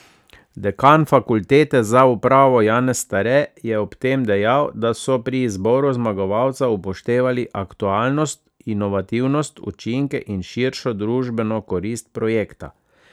Dekan Fakultete za upravo Janez Stare je ob tem dejal, da so pri izboru zmagovalca upoštevali aktualnost, inovativnost, učinke in širšo družbeno korist projekta.